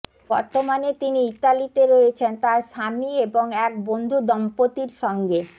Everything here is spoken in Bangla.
বর্তমানে তিনি ইতালিতে রয়েছেন তাঁর স্বামী এবং এক বন্ধু দম্পতির সঙ্গে